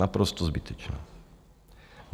Naprosto zbytečná.